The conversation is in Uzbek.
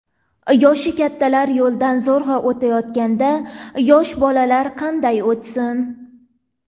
Yoshi kattalar yo‘ldan zo‘rg‘a o‘tayotganda, yosh bolalar qanday o‘tsin?!